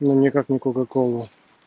ну никак не кока-кола